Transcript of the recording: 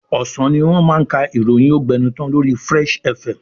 Ọ̀sán ni wọ́n máa ka ìròyìn ógbẹnután lori Fresh FM.